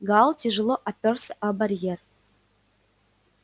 гаал тяжело оперся о барьер